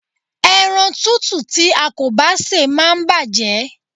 Ẹran tútù tí a kò bá sè máa ń bàjé.